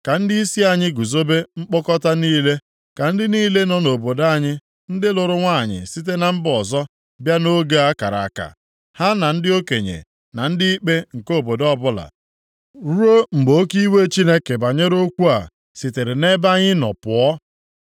Ka ndịisi anyị guzobe mkpọkọta niile. Ka ndị niile nọ nʼobodo anyị ndị lụrụ nwanyị site na mba ọzọ bịa nʼoge a kara aka, ha na ndị okenye na ndị ikpe nke obodo ọbụla, ruo mgbe oke iwe Chineke banyere okwu a sitere nʼebe anyị nọ pụọ.”